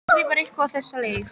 Hún skrifar eitthvað á þessa leið